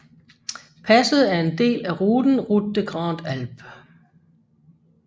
Passet er en del af ruten Route des Grandes Alpes